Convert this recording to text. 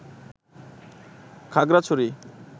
Khagrachari